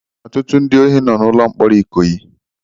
Ọtụtụ ndị ohi nọ n'ụlọ mkpọrọ Ikoyi.